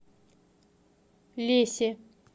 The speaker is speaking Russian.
лесе